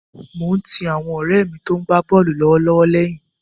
Mo ń ti àwọn ọ̀rẹ́ mi tó ń gbá bọ́ọ̀lù lọ́wọ́lọ́wọ́ lẹ́yìn.